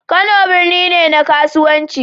Kano birni ne na kasuwanci.